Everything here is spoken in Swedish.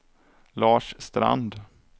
Lars Strand